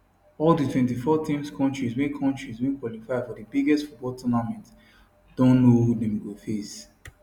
all di 24 teams kontris wey kontris wey qualify for di biggest football tournament don know who dem go face